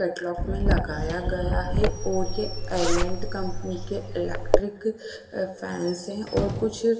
catalogue में लगाया गया है और ये अरेंएंट कंपनी के इलेक्ट्रिक फैंस से और कुछ--